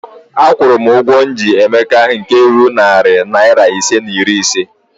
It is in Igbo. Akwụrụ m ụgwọ m ji Emeka nke ruru narị naịra ise na iri ise